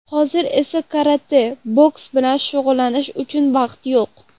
Hozir esa karate, boks bilan shug‘ullanish uchun vaqt yo‘q.